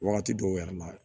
Wagati dɔw yɛrɛ la